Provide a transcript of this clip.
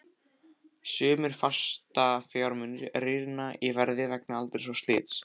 Sumir fastafjármunir rýrna í verði vegna aldurs og slits.